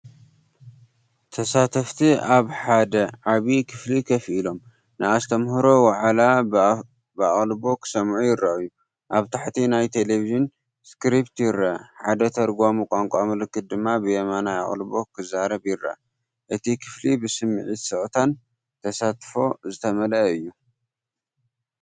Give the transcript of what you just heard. ተሳተፍቲ ኣብ ሓደ ዓቢይ ክፍሊ ኮፍ ኢሎም፡ ንኣስተምህሮ ዋዕላ ብኣቓልቦ ክሰምዑ ይረኣዩ። ኣብ ታሕቲ ናይ ተለቪዥን ስክሪፕት ይርአ፣ ሓደ ተርጓሚ ቋንቋ ምልክት ድማ ብየማን ኣቓልቦ ክዛረብ ይርአ። እቲ ክፍሊ ብስምዒት ስቕታን ተሳትፎን ዝተመልአ እዩ።